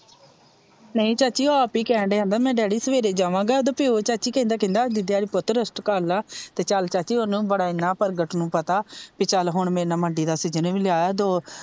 ਨਹੀਂ ਚਾਚੀ ਓਹ ਆਪ ਹੀ ਕਿਹਣ ਡਿਆ ਮੈ ਡੈਡੀ ਸਵੇਰੇ ਜਾਵਾਂਗਾ ਉਦਾ ਪਿਓ ਚਾਚੀ ਕਹਿੰਦਾ ਕਹਿੰਦਾ ਡੈਡੀ ਪੁੱਤ ਅੱਜ ਰੈਸਟ ਕਰ ਲਾ ਤੇ ਚੱਲ ਚਾਚੀ ਓਨੁ ਬੜਾ ਪ੍ਰਗਟ ਨੂੰ ਪਤਾ ਭਈ ਚੱਲ ਹੁਣ ਮੰਡੀ ਦਾ ਸੀਜੀਨ ਏਵੀ ਲਿਆਦਾ,